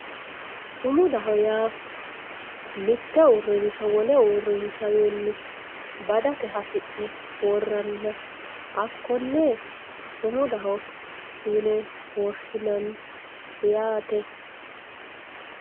Sumudaho yaa mitte uurinsha wole uurinshawinni badate hasi'ne woraniha hako'nne sumudaho yine woshinanni yaate.